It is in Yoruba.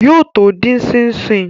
Yóò tó dín ṣíń ṣín